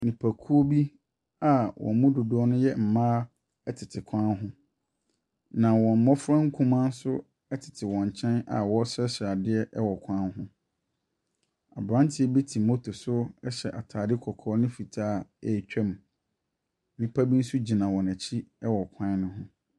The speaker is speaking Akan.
Nnipakuo bi a wɔn dodoɔ no ɛyɛ mmaa ɛtete kwan ho. Na wɔn mmɔfra nkumaa nso ɛtete wɔn nkyɛn a ɔresrɛsrɛ adeɛ wɔ kwan ho. Abranteɛ bi te motor so ɛhyɛ ataade kɔkɔɔ ne fitaa ɛretwa mu. Nipa bi nso gyina wɔn ɛkyi ɛwɔ kwan ne ho.